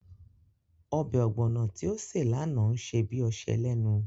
Ọbẹ̀ ọ̀gbọ̀nọ̀ tí ó ṣe lánàá ń ṣe bí ọṣẹ lénu